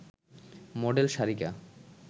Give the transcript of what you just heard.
model Sarika